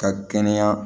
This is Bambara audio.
Ka kɛnɛya